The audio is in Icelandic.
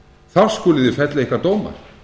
þá skuluð þið fella ykkar dóma